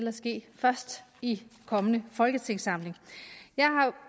at ske først i den kommende folketingssamling jeg har